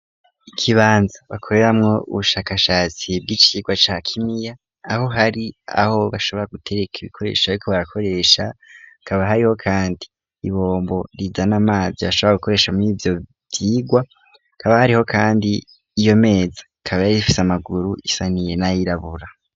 Ikibanza bakoreramwo ubushakashatsi bw'icikigwa ca kimia aho hari aho bashobora gutereka ibikoresho byo ko barakoresha kaba hariho kandi ibombo riza n'amazi ashobora gukoresha mur'ivyo vyigwa kaba hariho kandi iyo meza kaba yari ifise amaguru isaniye n'ayirabura.